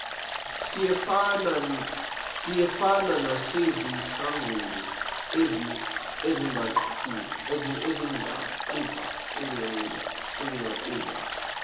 siyefana nasezinhlanganweni ezingaqhuba